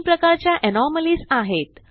तीन प्रकारच्या एनोमॅलीज आहेत